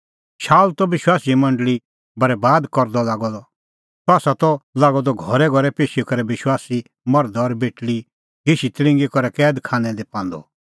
शाऊल त विश्वासीए मंडल़ी बरैबाद करदअ लागअ द सह त लागअ द घरैघरै पेशी करै विश्वासी मर्धा और बेटल़ी घिशीतल़िंगी करै कैद खानै दी पांदअ